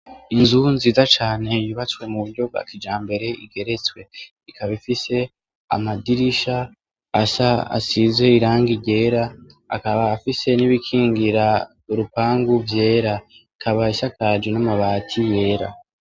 Inzu nziza cane yubatswe muburyo bwa kijambere igeretswe ,ikaba ifise amadirisha asa , asize irangi ryera, akaba afise n’ibikingira urupangu vyera. Ikaba isakajwe n’amabati yera.